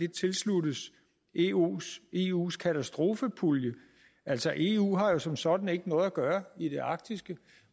tilsluttes eus eus katastrofepulje altså eu har jo som sådan ikke noget at gøre i det arktiske